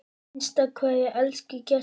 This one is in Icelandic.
HINSTA KVEÐJA Elsku Gestur.